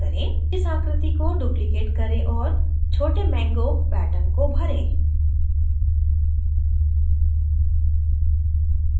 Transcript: इस आकृति को duplicate करें और छोटे mango pattern को भरें